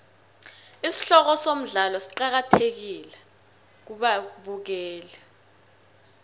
isihloko somdlalo siqakathekile kubabukeli